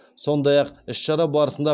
сондай ақ іс шара барысында